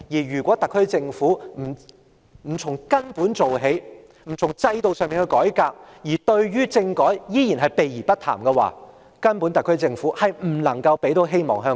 如果特區政府不從根本做起，不從制度上改革，對政改依然避而不談的話，特區政府根本不能為香港人帶來希望。